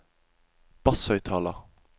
basshøyttaler